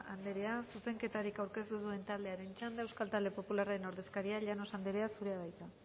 andrea zuzenketarik aurkeztu ez duen taldearen txanda euskal talde popularraren ordezkaria llanos andrea zurea da hitza